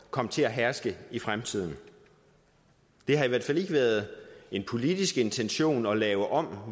kommer til at herske i fremtiden det har i hvert fald ikke været en politisk intention at lave om